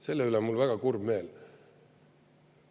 Selle üle on mul väga kurb meel.